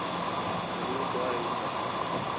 roer daai hoender